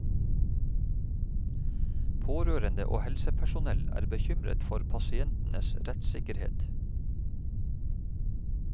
Pårørende og helsepersonell er bekymret for pasientenes rettssikkerhet.